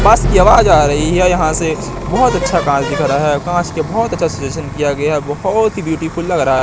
बस की आवाज आ रही है यहां से बहोत अच्छा कांच दिख रहा है कांच के बहोत अच्छा सजेशन किया गया बहोत ही ब्यूटीफुल लग रहा--